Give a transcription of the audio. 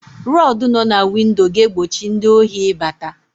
Rọdụ nọ na windo ga-egbochi ndị ohi ị bata.